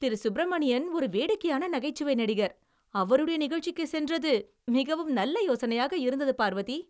திரு. சுப்ரமணியன் ஒரு வேடிக்கையான நகைச்சுவை நடிகர். அவருடைய நிகழ்ச்சிக்கு சென்றது மிகவும் நல்ல யோசனையாக இருந்தது பார்வதி.